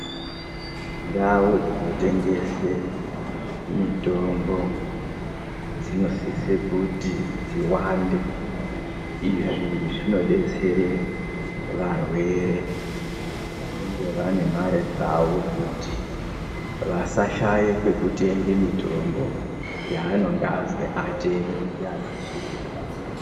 Ndau dzinotengese mitombo dzinosise kuti dziwande. Izvi zvinodetsere varwere vanenge vane mare dzavo kuti vasashaye kwekutenge mitombo yavanonga azwi atenge ndiana zviremba.